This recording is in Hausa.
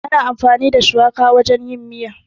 Ana amfani da shuwaka wajen yin miya.